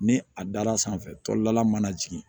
Ni a dar'a sanfɛ tɔlala mana jigin